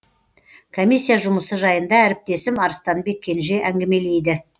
комиссия жұмысы жайында әріптесім арыстанбек кенже әңгімелейді